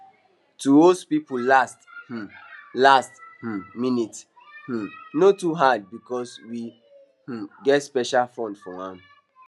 to host people last um last um minute um no too hard because we um get special fund for am